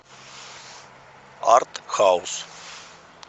арт хаус